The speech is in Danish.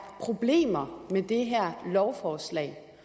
problemer med det her lovforslag